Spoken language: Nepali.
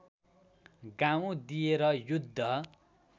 गाउँ दिएर युद्ध